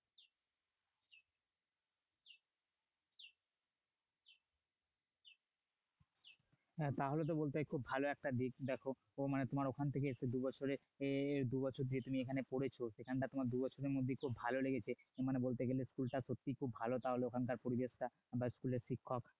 হ্যাঁ তাহলে তো বলতে হয় খুব ভালো একটা দিক দেখাও তোমার ওখান থেকে এসেছো দুই বছরে যে দুবছর যে তুমি এখানে পড়েছ এখানটা তোমার দুবছরের মধ্যে খুব ভালো লেগেছে মানে বলতে গেলে school টা সত্যিই খুব ভালো তাহলে ওখানকার পরিবেশ টা বা school এর শিক্ষক